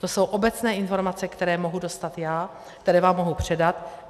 To jsou obecné informace, které mohu dostat já, které vám mohu předat.